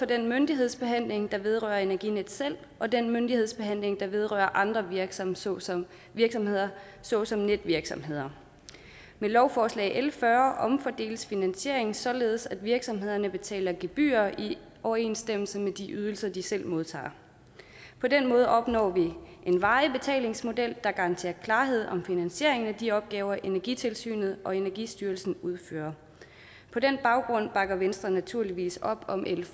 den myndighedsbehandling der vedrører energinet selv og den myndighedsbehandling der vedrører andre virksomheder såsom virksomheder såsom netvirksomheder med lovforslag l fyrre omfordeles finansieringen således at virksomhederne betaler gebyrer i overensstemmelse med de ydelser de selv modtager på den måde opnår vi en varig betalingsmodel der garanterer klarhed om finansieringen af de opgaver energitilsynet og energistyrelsen udfører på den baggrund bakker venstre naturligvis op om l